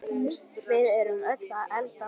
Við erum öll að eldast.